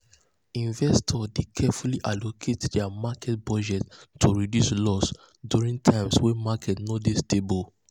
investors dey carefully allocate dia market budget to reduce loss during times wey market no dey stable.